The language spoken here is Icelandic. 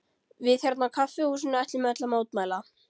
Við hérna á kaffihúsinu ætlum öll að mótmæla.